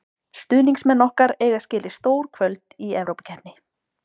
Stuðningsmenn okkar eiga skilið stór kvöld í Evrópukeppni.